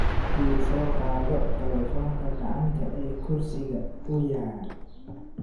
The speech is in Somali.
Ii soo qaado taleefoonka gacanta ee kursiga u yaal.